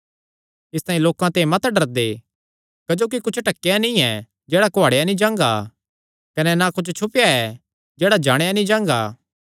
इसतांई लोकां ते मत डरदे क्जोकि कुच्छ ढकेया नीं जेह्ड़ा कुआड़ेया नीं जांगा कने ना कुच्छ छुपेया ऐ जेह्ड़ा जाणेयां नीं जांगा